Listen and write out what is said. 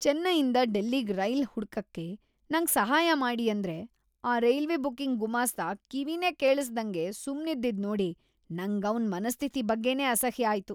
ಚೆನ್ನೈಯಿಂದ ಡೆಲ್ಲಿಗ್ ರೈಲ್ ಹುಡ್ಕಕ್ಕೆ ನಂಗ್ ಸಹಾಯ ಮಾಡಿ ಅಂದ್ರೆ ಆ ರೈಲ್ವೆ ಬುಕಿಂಗ್ ಗುಮಾಸ್ತ ಕಿವಿನೇ ಕೇಳಿಸ್ದಂಗೆ ಸುಮ್ನಿದ್ದಿದ್ ನೋಡಿ ನಂಗ್‌ ಅವ್ನ್‌ ಮನಸ್ಥಿತಿ ಬಗ್ಗೆನೇ ಅಸಹ್ಯ ಆಯ್ತು.